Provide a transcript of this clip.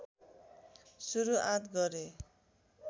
सुरुआत गरे